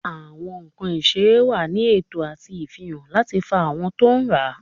Awọn nkan iserẹ wa ní eto ati ifihan lati fa awọn to n rá.